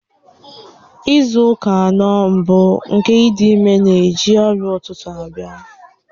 Izu ụka anọ mbụ nke ịdị ime na-eji ọrịa ụtụtụ abịa.